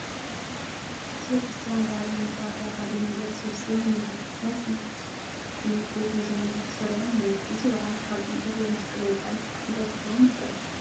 ህዝበ ክርስቲያን በዓል ንምኽባር ኣብ ሓደ ሜዳ ተሰብሲቡ እኒሀ፡፡ ናይ ሰንበት ትምህርት ቤት መዘምራን ተሰሪዖም እኔዉ፡፡ እዚ በዓል ካብ ጥምቀት ወይ መስቀል ወፃኢ እንታይ ክኸውን ይኽእል?